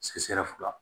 fila